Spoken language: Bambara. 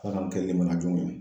Ala k'an kɛ limaniyajɔnw ye